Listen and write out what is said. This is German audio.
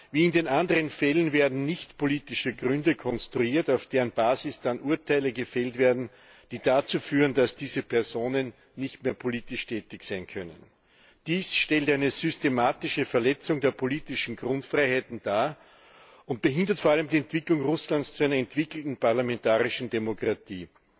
Wie in den anderen Fällen werden nichtpolitische Gründe konstruiert, auf deren Basis dann Urteile gefällt werden, die dazu führen, dass diese Personen nicht mehr politisch tätig sein können. Dies stellt eine systematische Verletzung der politischen Grundfreiheiten dar und behindert vor allem die Entwicklung Russlands zu einer entwickelten parlamentarischen Demokratie.